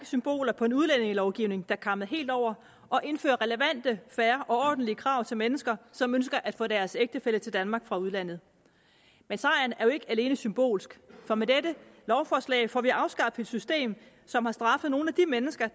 symboler på en udlændingelovgivning der kammede helt over og indfører relevante fair og ordentlige krav til mennesker som ønsker at få deres ægtefælle til danmark fra udlandet men sejren er jo ikke alene symbolsk for med dette lovforslag får vi afskaffet et system som har straffet nogle af de mennesker